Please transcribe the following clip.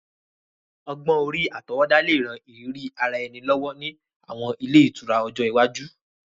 Ogbón-orí àtọwọ́dá le ran ìrírí ara ẹni lọ́wọ́ ni àwọn ile itura ọjọ́ iwaju.